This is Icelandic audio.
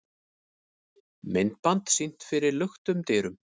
Myndband sýnt fyrir luktum dyrum